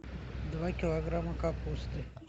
два килограмма капусты